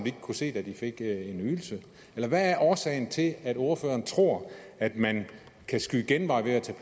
ikke kunne se da de fik ydelsen eller hvad er årsagen til at ordføreren tror at man kan skyde genvej ved at tage